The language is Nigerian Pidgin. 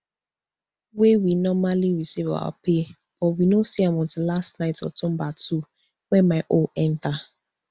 wey we normally receive our pay but we no see am until last night october two wen my own enta